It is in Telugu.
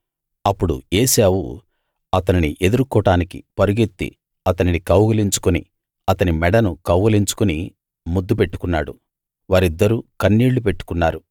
అప్పుడు ఏశావు అతనిని ఎదుర్కోడానికి పరుగెత్తి అతనిని కౌగలించుకుని అతని మెడను కౌగలించుకుని ముద్దు పెట్టుకున్నాడు వారిద్దరూ కన్నీళ్ళు పెట్టుకున్నారు